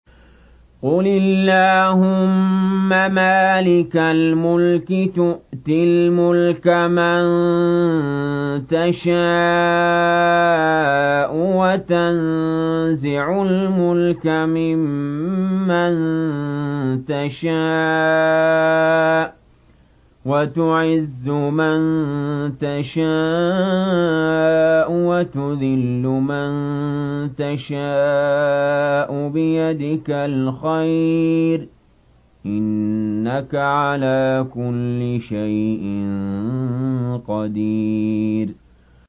قُلِ اللَّهُمَّ مَالِكَ الْمُلْكِ تُؤْتِي الْمُلْكَ مَن تَشَاءُ وَتَنزِعُ الْمُلْكَ مِمَّن تَشَاءُ وَتُعِزُّ مَن تَشَاءُ وَتُذِلُّ مَن تَشَاءُ ۖ بِيَدِكَ الْخَيْرُ ۖ إِنَّكَ عَلَىٰ كُلِّ شَيْءٍ قَدِيرٌ